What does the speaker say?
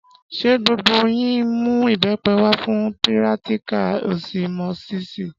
Ṣé gbogbo yín mú ìbẹ́pẹ wá fún pírátíkà ọsimósísì?